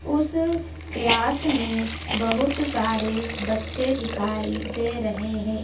उस क्लास में बहुत सारे बच्चे दिखाई दे रहे हैं।